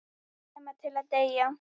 Nema til að deyja.